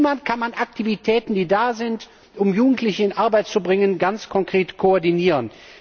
Wie kann man Aktivitäten, die da sind, um Jugendliche in Arbeit zu bringen, ganz konkret koordinieren?